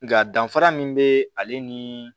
Nga danfara min be ale ni